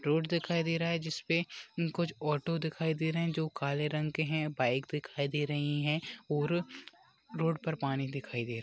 Road दिखाई दे रहा है जिसपे अं कूछ ऑटो दिखाई दे रहे जो काले रंग के है बाइक दिखाई दे रही है और रोड पर पानी दिखाई दे रहा है।